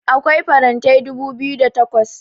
akwai farantai dubu biyu da takwas